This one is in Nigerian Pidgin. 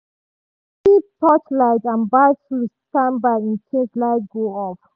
she keep keep torchlight and battery standby in case light go off.